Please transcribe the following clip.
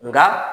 Nka